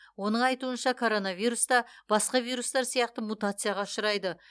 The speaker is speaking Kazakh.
оның айтунша коронавирус та басқа вирустар сияқты мутацияға ұшырайды